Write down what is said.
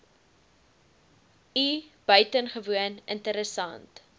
i buitengewoon interessant